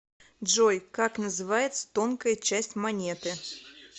джой как называется тонкая часть монеты